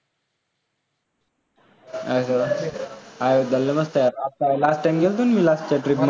अरे व्वा! अयोध्या लय मस्त आहे आता last time मी गेलतो ना त्या trip मध्ये